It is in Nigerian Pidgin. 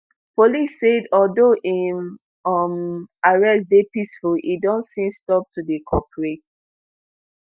police said although im um arrest dey peaceful e don since stop to dey cooperate